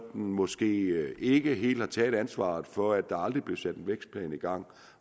måske ikke helt har taget ansvaret for at der aldrig blev sat en vækstplan i gang